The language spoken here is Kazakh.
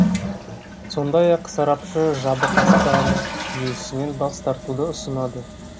сондай ақ сарапшы жабық аспан жүйесінен бас тартуды ұсынады